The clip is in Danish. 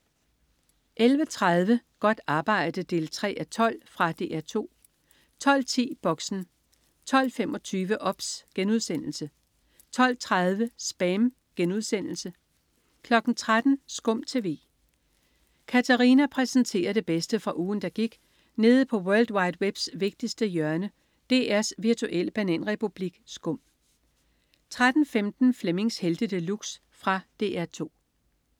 11.30 Godt arbejde 3:12. Fra DR 2 12.10 Boxen 12.25 OBS* 12.30 SPAM* 13.00 SKUM TV. Katarina præsenterer det bedste fra ugen, der gik nede på world wide webs vigtigste hjørne, DR's virtuelle bananrepublik SKUM 13.15 Flemmings Helte De Luxe. Fra DR 2